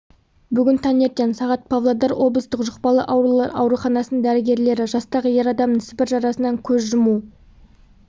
бүгін таңертең сағат павлодар облыстық жұқпалы аурулар ауруханасының дәрігерлері жастағы ер адамның сібір жарасынан көз жұму